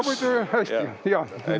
Hästi, jah.